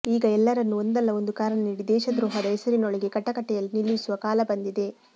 ಈಗ ಎಲ್ಲರನ್ನೂ ಒಂದಲ್ಲ ಒಂದು ಕಾರಣ ನೀಡಿ ದೇಶದ್ರೋಹದ ಹೆಸರಿನೊಳಗೆ ಕಟಕಟೆಯಲ್ಲಿ ನಿಲ್ಲಿಸುವ ಕಾಲ ಬಂದಿದೆ